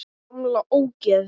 Gamla ógeð!